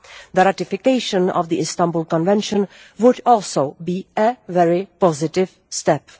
The ratification of the Istanbul Convention would also be a very positive step.